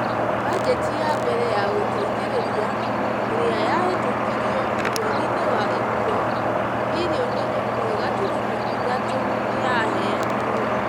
Bajeti ya mbere ya gũteithĩrĩria, ĩrĩa yahetũkirio mweri-inĩ wa Ĩpuro, mbirioni ĩmwe gaturumo ithatũ nĩ yaheanirwo,